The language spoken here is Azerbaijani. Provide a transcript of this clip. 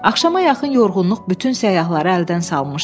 Axşama yaxın yorğunluq bütün səyyahları əldən salmışdı.